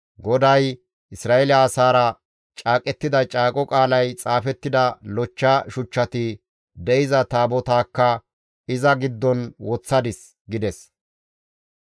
GODAY Isra7eele asaara caaqettida caaqo qaalay xaafettida lochcha shuchchati de7iza Taabotaakka iza giddon woththadis» gides.